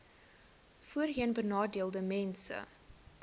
voorheenbenadeeldesmense